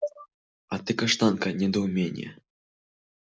а ты каштанка недоумение